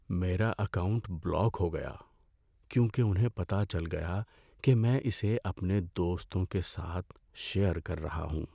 میرا account block ہو گیا کیونکہ انہیں پتہ چل گیا کہ میں اسے اپنے دوستوں کے ساتھ شیئر کر رہا ہوں۔